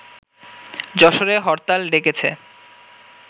যশোরে হরতাল ডেকেছে